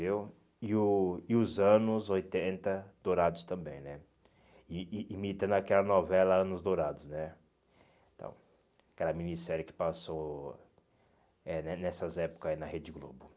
viu e o e os anos oitenta dourados também né, e e imitando aquela novela Anos Dourados né então, aquela minissérie que passou é né nessas épocas na Rede Globo.